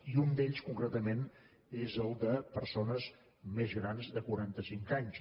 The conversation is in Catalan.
i un d’ells concretament és el de persones més grans de quaranta cinc anys